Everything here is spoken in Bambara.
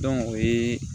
o ye